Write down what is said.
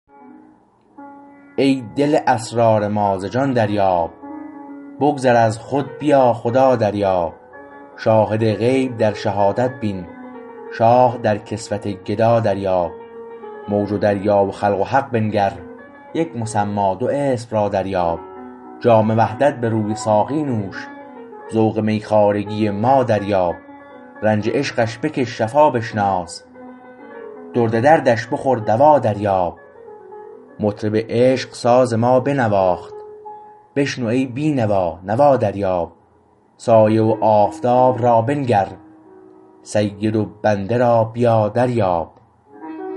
ای دل اسرار ما ز جان دریاب بگذر از خود بیا خدا دریاب شاهد غیب در شهادت بین شاه در کسوت گدا دریاب موج و دریا و خلق و حق بنگر یک مسمی دو اسم را دریاب جام وحدت به روی ساقی نوش ذوق می خوارگی ما دریاب رنج عشقش بکش شفا بشناس درد دردش بخور دوا دریاب مطرب عشق ساز ما بنواخت بشنو ای بینوا نوا دریاب سایه و آفتاب را بنگر سید و بنده را بیا دریاب